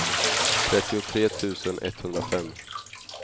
trettiotre tusen etthundrafem